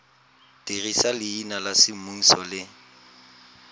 dirisa leina la semmuso le